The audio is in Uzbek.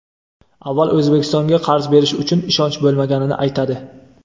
avval O‘zbekistonga qarz berish uchun ishonch bo‘lmaganini aytadi.